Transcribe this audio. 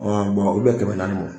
u bu bɛn kɛmɛ naani mɔ.